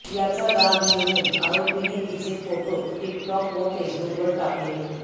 याचा राग येऊन आरोपीने तीचे फोटो टिकटॉक व फेसबुकवर टाकले